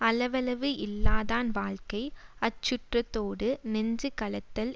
அளவளவு இல்லாதான் வாழ்க்கை அச்சுற்றத்தோடு நெஞ்சு கலத்தல்